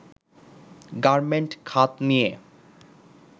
garment খাত নিয়ে